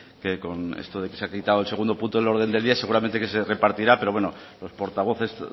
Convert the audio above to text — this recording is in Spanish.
que con esto de que se ha quitado el segundo punto del orden del día seguramente que se repartirá pero bueno los portavoces